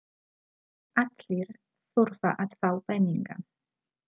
Allir þurfa að fá peninga.